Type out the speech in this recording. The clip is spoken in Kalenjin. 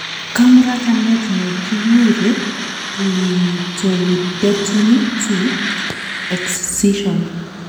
Kamuratanet ne kiguure Clitorudectomy 2: Excision